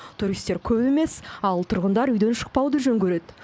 туристер көп емес ал тұрғындар үйден шықпауды жөн көреді